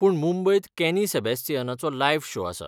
पूण मुंबयत कॅनी सॅबिस्तियनाचो लायव्ह शो आसा.